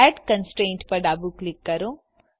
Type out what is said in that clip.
add constraint પર ડાબું click કરો